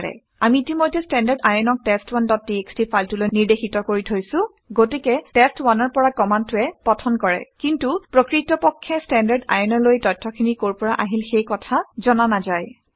আমি ইতিমধ্যে standardin ক টেষ্ট1 ডট টিএক্সটি ফাইলটোলৈ নিৰ্দেশিত কৰি থৈছোঁ গতিকে টেষ্ট ১ টেষ্ট1 ৰ পৰা কামাণ্ডটোৱে অধ্যয়ন পঠন কৰে কিন্তু প্ৰকৃতপক্ষে standardin অলৈ তথ্যখিনি কৰ পৰা আহিল সেই কথা জনা নাযায়